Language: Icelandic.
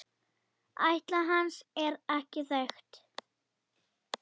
Ætt hans er ekki þekkt.